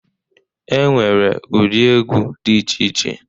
E nwere ụdị egwu dị iche iche.